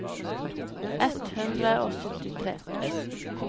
ett hundre og syttitre